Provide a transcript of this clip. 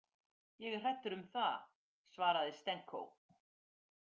Ég er hræddur um það, svaraði Stenko.